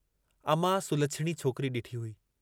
अमां सुलछिणी छोकिरी डिठी हुई।